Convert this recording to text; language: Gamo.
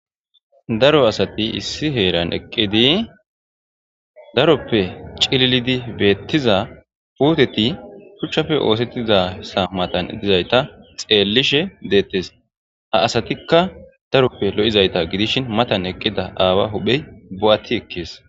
daro asati issi heeran eqqidi daroppe cililidi beettiza puuteti shuchchafe oosettizasa matan dizayta xeellishe deettes ha asatikka daroppe lo7izayta gidishin matan eqqida aawa huphey bo7atti ekkees